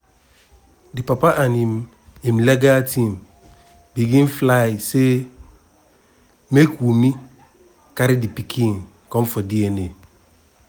di papa and im im legal team begin file say make wunmi carry di pikin come for dna.